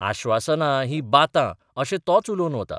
आश्वासनां हीं बातां अशें तोच उलोवन वता.